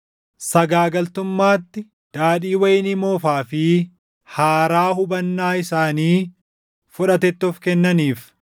sagaagaltummaatti, daadhii wayinii moofaa fi haaraa hubannaa isaanii fudhatetti of kennaniif.